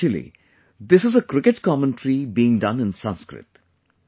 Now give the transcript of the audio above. Actually, this is a cricket commentary being done in Sanskrit